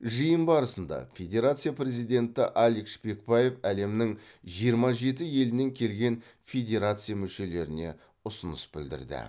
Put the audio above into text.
жиын барысында федерация президенті алик шпекбаев әлемнің жиырма жеті елінен келген федерация мүшелеріне ұсыныс білдірді